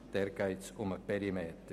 Dort geht es um den Perimeter.